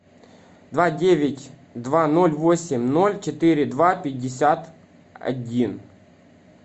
два девять два ноль восемь ноль четыре два пятьдесят один